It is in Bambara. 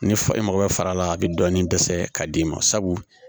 Ni e mago bɛ fara la a bɛ dɔɔnin dɛsɛ ka d'i ma sabu